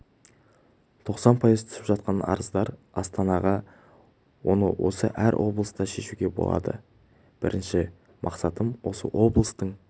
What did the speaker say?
тоқсан пайыз түсіп жатқан арыздар астанаға оны осы әр облыста шешуге болады бірінші мақсатым осы облыстың